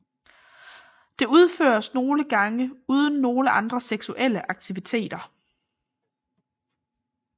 Det udføres nogle gange uden nogle andre seksuelle aktiviteter